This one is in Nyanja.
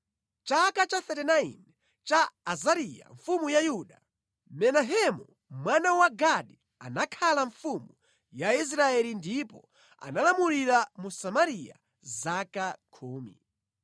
Mʼchaka cha 39 cha Azariya mfumu ya Yuda, Menahemu mwana wa Gadi anakhala mfumu ya Israeli ndipo analamulira mu Samariya zaka khumi.